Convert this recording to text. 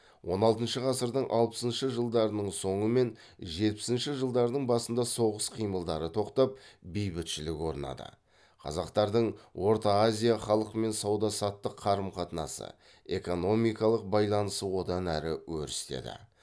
он алтыншы ғасырдың алпысыншы жылдарының соңы мен жетпісінші жылдарының басында соғыс қимылдары тоқтап бейбітшілік орнады қазақтардың орта азия халқымен сауда саттық қарым қатынасы экономикалық байланысы одан әрі өрістеді